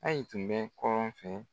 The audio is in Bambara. AYI tun bɛ kɔrɔn fɛ.